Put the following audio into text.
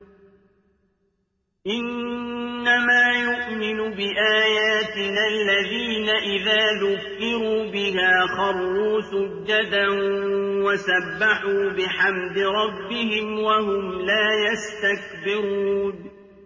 إِنَّمَا يُؤْمِنُ بِآيَاتِنَا الَّذِينَ إِذَا ذُكِّرُوا بِهَا خَرُّوا سُجَّدًا وَسَبَّحُوا بِحَمْدِ رَبِّهِمْ وَهُمْ لَا يَسْتَكْبِرُونَ ۩